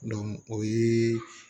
o ye